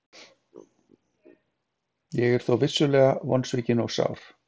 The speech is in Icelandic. Ég er þó vissulega vonsvikinn og sár.